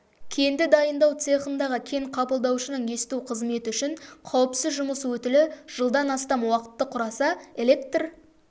кенді дайындау цехындағы кен қабылдаушының есту қызметі үшін қауіпсіз жұмыс өтілі жылдан астам уақытты құраса электр